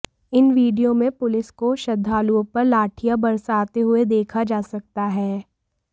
इन video में police को श्रद्धालुओं पर लाठियाँ बरसाते हुए देखा जा सकता है